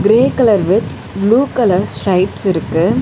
Grey colour with blue colour stripes இருக்கு.